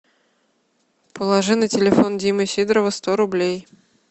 положи на телефон димы сидорова сто рублей